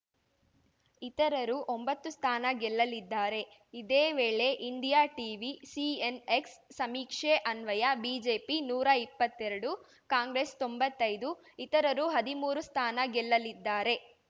ಇತರರು ಒಂಬತ್ತು ಸ್ಥಾನ ಗೆಲ್ಲಲಿದ್ದಾರೆ ಇದೇ ವೇಳೆ ಇಂಡಿಯಾ ಟೀವಿ ಸಿಎನ್‌ಎಕ್ಸ್‌ ಸಮೀಕ್ಷೆ ಅನ್ವಯ ಬಿಜೆಪಿ ನೂರಾ ಇಪ್ಪತ್ತೆರಡು ಕಾಂಗ್ರೆಸ್‌ ತೊಂಬತ್ತೈದು ಇತರರು ಹದಿಮೂರು ಸ್ಥಾನ ಗೆಲ್ಲಲಿದ್ದಾರೆ